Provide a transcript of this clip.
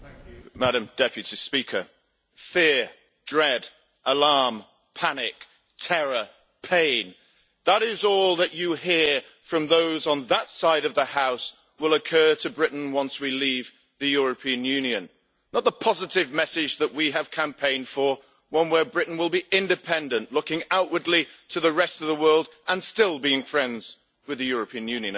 Madam President, fear, dread, alarm, panic, terror, pain. That is all that you hear, from those on that side of the House, will occur to Britain once we leave the European Union, not the positive message that we have campaigned for one where Britain will be independent, looking outwardly to the rest of the world and still being friends with the European Union.